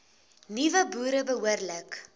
nuwe boere behoorlik